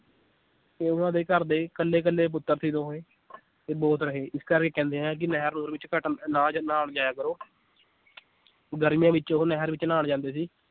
ਤੇ ਉਹਨਾਂ ਦੇ ਘਰਦੇ ਕੱਲੇ ਕੱਲੇ ਪੁੱਤਰ ਸੀ ਦੋਵੇਂ ਇਹ ਬੋਤ ਰਹੇ ਇਸ ਕਰਕੇ ਕਹਿੰਦੇ ਹੈ ਕਿ ਨਹਿਰ ਨੁਹਰ ਵਿਚ ਘੱਟ ਨਾ ਨਾ ਵੀ ਜਾਇਆ ਕਰੋ ਗਰਮੀਆਂ ਵਿਚ ਉਹ ਨਹਿਰ ਵਿਚ ਨਹਾਣ ਜਾਂਦੇ ਸੀ l